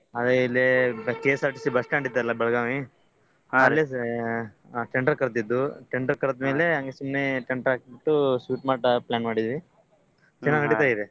ಅದೆ ಇಲ್ಲೇ KSRTC bus stand ಐತಲ ಬೆಳಗಾವಿ ಹಾ ಅಲ್ಲಿ tender ಕರ್ದಿದ್ರು tender ಕರ್ದ ಮೇಲೆ ಹಂಗೆ ಸುಮ್ನೆ tent ಹಾಕ್ಬಿಟ್ಟು sweet mart ಹಾಕಕ್ plan ಮಾಡಿದ್ವಿ ಚೆನಾಗ್ ನಡೀತಾ ಇದೆ.